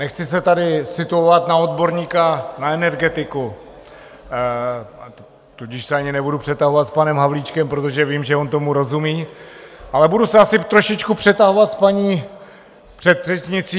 Nechci se tady situovat na odborníka na energetiku, tudíž se ani nebudu přetahovat s panem Havlíčkem, protože vím, že on tomu rozumí, ale budu se asi trošičku přetahovat s paní předřečnicí.